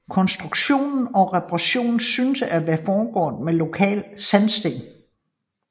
Konstruktion og reparation synes at være foregået med lokal sandsten